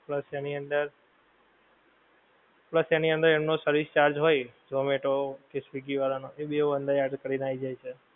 plus તેની અંદર plus તેની અંદર એમનો service charge હોએ zomato કે swiggy વાળા નો એ બેઓ અંદર add કરી ને આઈ જાએ છે